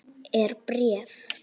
Er bréf?